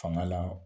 Fanga la